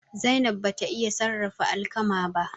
Zainab bata iya sarrafa alkama ba.